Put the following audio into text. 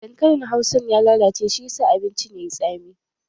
Dankalin hausan ya lalace shi ya sa abincin yayi tsami